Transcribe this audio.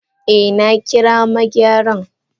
Eh nakira Megyaran.